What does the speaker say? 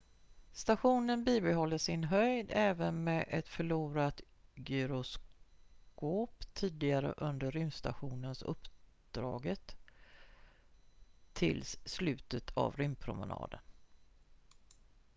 stationen bibehåller sin höjd även med ett förlorat gyroskop tidigare under rymdstations-uppdraget tills slutet av rymdpromenaden